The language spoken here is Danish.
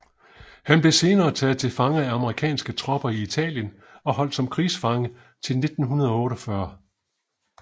Han blev senere taget til fange af amerikanske tropper i Italien og holdt som krigsfange til 1948